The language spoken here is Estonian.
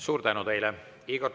Suur tänu teile!